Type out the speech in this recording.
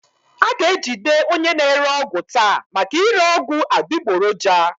A ga-ejide onye na-ere ọgwụ taa maka ire ọgwụ adịgboroja